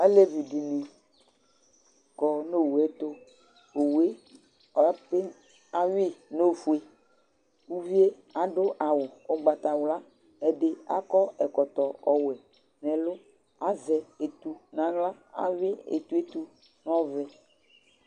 alevidɩnɩ kɔ nʊ owu yɛtʊ, awi owu yɛ nʊ ofue, ivi yɛ adʊ awu ugbatawla, ɛdɩ akɔ ɛkɔtɔ ɔwɛ, azɛ etu n'aɣla, awi etu yɛ nʊ ɔvɛ